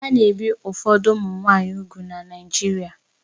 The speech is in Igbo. A na-ebi ụfọdụ ụmụ nwanyị úgwù na Naijiria